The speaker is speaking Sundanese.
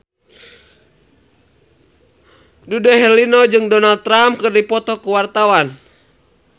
Dude Herlino jeung Donald Trump keur dipoto ku wartawan